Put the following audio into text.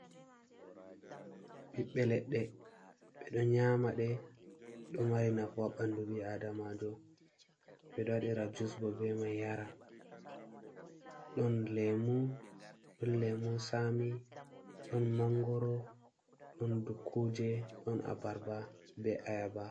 Ɓiɓɓe leɗɗe ɓeɗo nyama ɗe ɗo mari nafu ha ɓandu ɓi Adamajo. Ɓeɗo waɗira jus bo be mai yara. ɗon lemu, lemu sami, ɗon mangoro, ɗon dukkuje, ɗon abarba be ayaba.